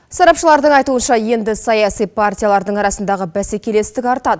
сарапшылардың айтуынша енді саяси партиялардың арасындағы бәсекелестік артады